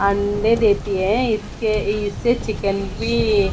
अंडे देती है इसके इससे चिकन भी--